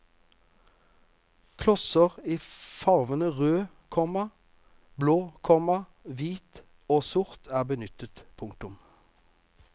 Klosser i farvene rød, komma blå, komma hvit og sort er benyttet. punktum